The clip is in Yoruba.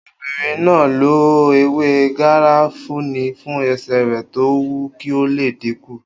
Obìnrin náà lo ewé garafuni fún ẹsẹ̀ rẹ̀ tó wu kí ó lè dínkù